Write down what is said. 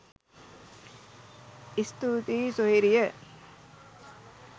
ඉස්තූතියි සොහොයුරිය